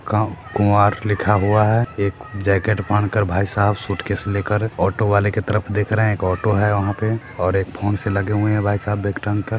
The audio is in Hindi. गाँव कुंवार लिखा हुआ है एक जैकेट पेहन कर भाई साब सूटकेस लेकर ऑटो वाले की तरफ देख रहे है एक ऑटो है वहाँ पे और एक फ़ोन से लग हुए है भाई साब बैग टांग कर।